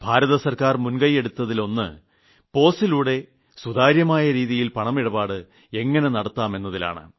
കേന്ദ്ര ഗവൺമെന്റ് മുൻകൈയെടുത്തതിലൊന്ന് POSലൂടെ സുതാര്യമായ രീതിയിൽ പണമിടപാട് എങ്ങിനെ നടത്താമെന്നതിലാണ്